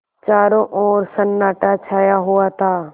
चारों ओर सन्नाटा छाया हुआ था